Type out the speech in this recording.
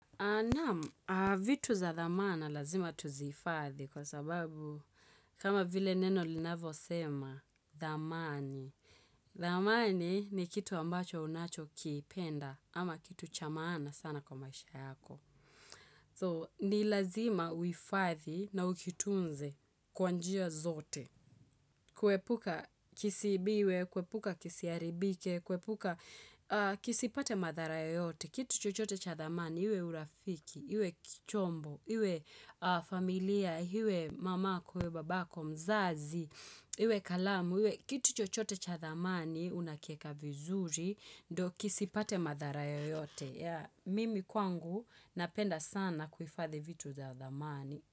Naam, vitu za dhamana lazima tuzifadhi kwa sababu kama vile neno linavo sema dhamani. Dhamani ni kitu ambacho unacho kipenda ama kitu chamaana sana kwa maisha yako. So, ni lazima uhifadhi na ukitunze kwa njia zote. Kuepuka kisiibiwe, kuepuka kisiharibike, kuepuka kisipate madharaya yoyote. Kitu chochote cha dhamani, iwe urafiki, iwe chombo, iwe familia, iwe mamako, iwe babako, mzazi, iwe kalamu, iwe kitu chochote cha dhamani, unakiweka vizuri, ndo kisipate madhara yoyote. Mimi kwangu napenda sana kuhifadhi vitu vya dhamani.